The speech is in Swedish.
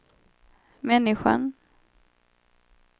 människan